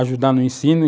ajudar no ensino.